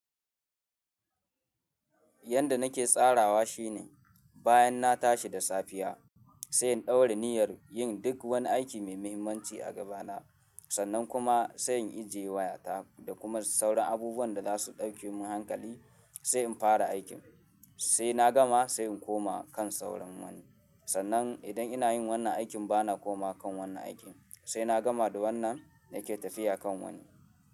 Yanda nake tsarawa shine bayan na tashi da safiya, sai in ɗaura niyyar yin duk wani aiki mai mahimmanci a gabana. Sannan kuma sai in ije wayata da kuma sauran abubuwan da za su ɗauke mun hankali sai in fara aikin. Sai na gama sai in koma kan sauran wani. Sannan idan ina yin wannan aikin bana komawa kan wannan aikin sai na gama da wannan nake tafiya kan wani.